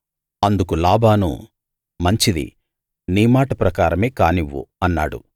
అందుకు లాబాను మంచిది నీ మాట ప్రకారమే కానివ్వు అన్నాడు